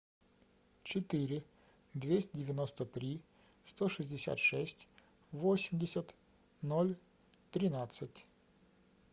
четыре двести девяносто три сто шестьдесят шесть восемьдесят ноль тринадцать